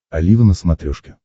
олива на смотрешке